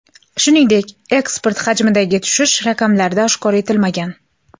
Shuningdek, eksport hajmidagi tushish raqamlarda oshkor etilmagan.